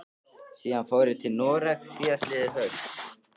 Síðan fór ég til Noregs síðastliðið haust.